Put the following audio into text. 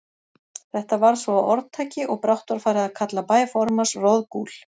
Þetta varð svo að orðtaki, og brátt var farið að kalla bæ formanns Roðgúl.